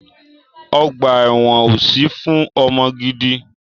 Ọgbà ẹ̀wọ́n ò sí fún ọmọ gidi.